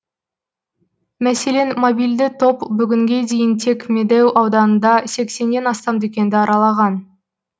мәселен мобильді топ бүгінге дейін тек медеу ауданында сексеннен астам дүкенді аралаған